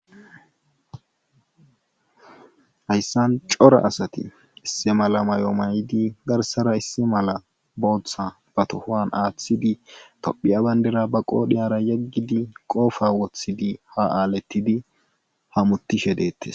Hayssan cora asati issi mala may'o maydi garsara issi mala booththa ba tohoan aaththidi tophiya bandera ba qoodhiyara yeggidi qoofa wothidi ha aaletidi ha mutishe deettes.